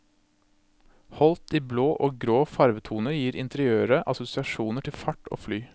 Holdt i blå og grå farvetoner gir interiøret assosiasjoner til fart og fly.